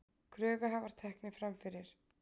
Kröfuhafar teknir fram fyrir